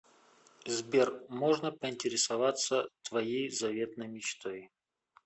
сбер можно поинтересоваться твоей заветной мечтой